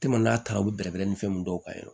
n'a taara u bi bɛrɛbɛrɛ ni fɛnw dɔw kan